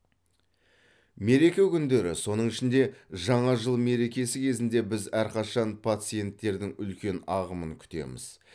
мереке күндері соның ішінде жаңа жыл мерекесі кезінде біз әрқашан пациенттердің үлкен ағымын күтеміз